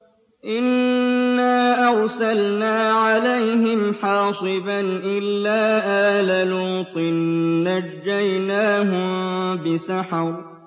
إِنَّا أَرْسَلْنَا عَلَيْهِمْ حَاصِبًا إِلَّا آلَ لُوطٍ ۖ نَّجَّيْنَاهُم بِسَحَرٍ